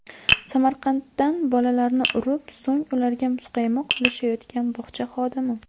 Samarqanddan Bolalarni urib, so‘ng ularga muzqaymoq ulashayotgan bog‘cha xodimi .